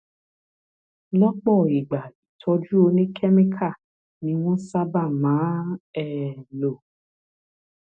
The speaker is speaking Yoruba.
lọpọ ìgbà ìtọjú oníkẹmíkà ni wọn sábà máa ń um lò